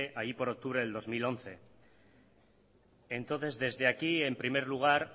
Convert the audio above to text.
allí por octubre del dos mil once entonces desde aquí en primer lugar